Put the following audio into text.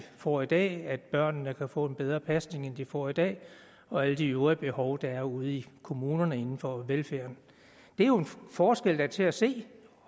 får i dag at børnene kan få en bedre pasning end de får i dag og alle de øvrige behov der er ude i kommunerne inden for velfærden det er jo en forskel der er til at se